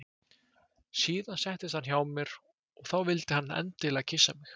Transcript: Síðan settist hann hjá mér og þá vildi hann endilega kyssa mig.